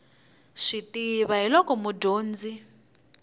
swi tiva hi loko mudyonzi